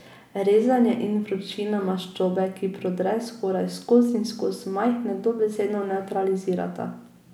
Rezanje in vročina maščobe, ki prodre skoraj skoz in skoz, majhne dobesedno nevtralizirata.